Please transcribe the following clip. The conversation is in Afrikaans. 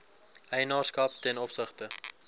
eienaarskap ten opsigte